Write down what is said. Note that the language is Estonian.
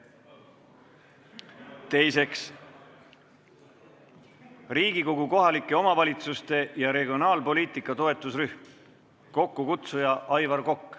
Teiseks, Riigikogu kohalike omavalitsuste ja regionaalpoliitika toetusrühm, kokkukutsuja on Aivar Kokk.